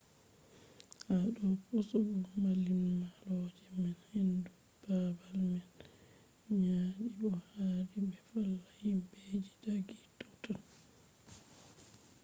ha do pusugo mallimalloje man hendu babal man nyadi bo hadi be valla himbe je daggi totton